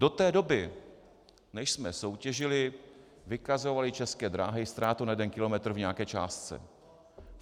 Do té doby, než jsme soutěžili, vykazovaly České dráhy ztrátu na jeden kilometr v nějaké částce.